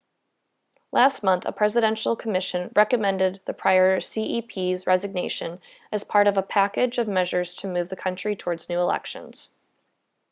last month a presidential commission recommended the prior cep's resignation as part of a package of measures to move the country towards new elections